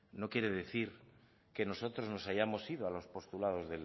no quiere decir que nosotros nos hayamos ido a los postulados